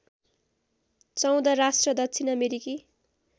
१४ राष्ट्र दक्षिण अमेरिकी